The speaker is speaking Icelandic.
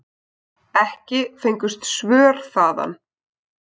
Ekki fengust svör þaðan.